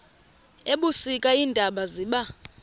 ebusika iintaba ziba